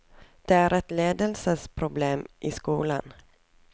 Det er et ledelsesproblem i skolen.